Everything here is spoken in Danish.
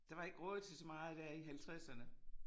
Der var ikke råd til så meget der i halvtredserne